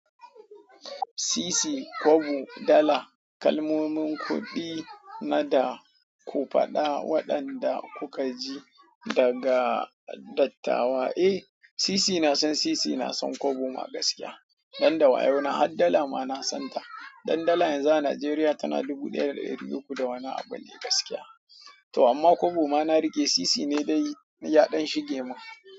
Sisi, kobo, dala. Kalmomin kuɗi nada ku faɗa waɗanda kuka ji daga dattawa. Eh, sisi na san sisi, na san kobo ma gaskiya, dan da wayo na. Har dala ma na san ta, dan dala yanzu a Najeriya tana dubu ɗaya da ɗari uku da wani abu ne gaskiya. To amma kobo ma na riƙe sisi ne dai yaɗan shige min.